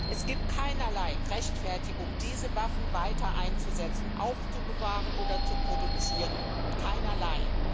Es gibt keinerlei Rechtfertigung, diese Waffen weiter einzusetzen, aufzubewahren oder zu produzieren keinerlei.